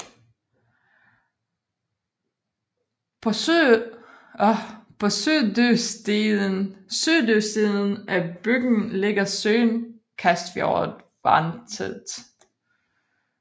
På sydøstsiden af bygden ligger søen Kasfjordvatnet